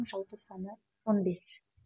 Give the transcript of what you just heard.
жалпы саны он бес